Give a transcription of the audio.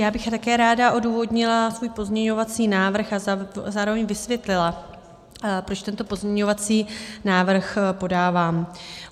Já bych také ráda odůvodnila svůj pozměňovací návrh a zároveň vysvětlila, proč tento pozměňovací návrh podávám.